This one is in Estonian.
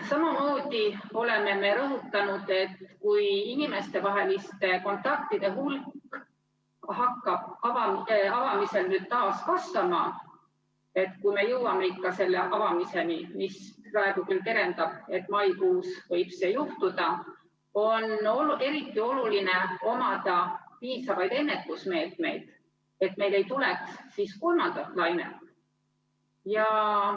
Samamoodi oleme rõhutanud, et kui inimestevaheliste kontaktide hulk hakkab avamisel nüüd taas kasvama – kui me jõuame ikka selle avamiseni, praegu küll terendab, et maikuus võib see juhtuda –, on eriti oluline omada piisavaid ennetusmeetmeid, et meil ei tuleks siis kolmandat lainet.